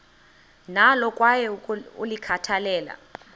nalo kwaye ulikhathalele